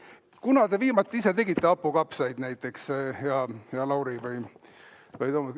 Kunas te viimati ise tegite hapukapsaid näiteks, hea Lauri või Toomas?